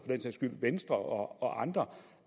venstre og andre